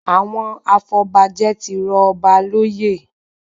Àwọn afọbajẹ tí rọ ọba lóyè